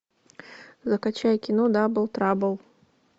закачай кино дабл трабл